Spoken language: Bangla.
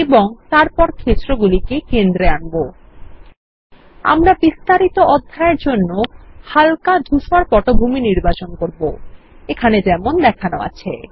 এবং তারপর ক্ষেত্রগুলিকেকেন্দ্রে আনব ltpausegt আমরা বিস্তারিত অধ্যায় এর জন্য হাল্কা ধূসর পটভূমি নির্বাচন করব এখানেযেমন দেখানো আছে